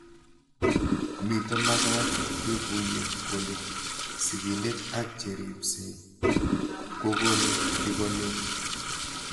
Mito magat kekuyo kole sigindet ak che ripsei kokonu tigonet